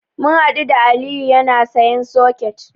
Mun haɗu da Aliyu yana sayen soket.